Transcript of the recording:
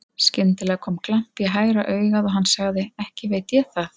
Skyndilega kom glampi í hægra augað og hann sagði: Ekki veit ég það.